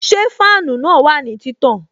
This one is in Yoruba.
Ṣé fáànù na wà ní títàn?